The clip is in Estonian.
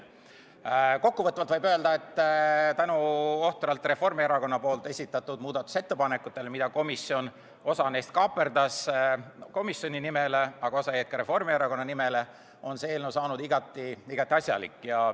Kokkuvõtvalt võib öelda, et tänu Reformierakonna esitatud ohtratele muudatusettepanekutele, millest osa kaaperdas komisjon enda nimele, aga osa jäi ka Reformierakonna nimele, on see eelnõu saanud igati asjalik.